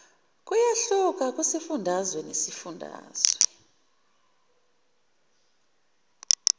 kuyahluka kusifundazwe ngesifundazwe